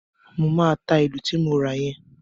Mo máa ta ìlù ti mo ra yẹn.